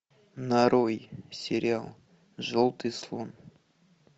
нарой сериал желтый слон